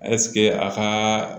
ɛsike a ka